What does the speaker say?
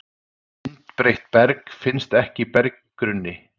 Myndbreytt berg finnst ekki í berggrunni